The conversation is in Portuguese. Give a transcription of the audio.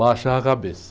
Baixava a cabeça.